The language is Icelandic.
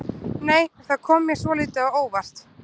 Nei! Það kom mér svolítið á óvart!